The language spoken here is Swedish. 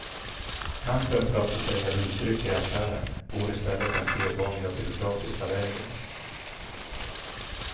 Kampen för att få sälja rusdrycker i affären går i stället den sedvanliga byråkratiska vägen.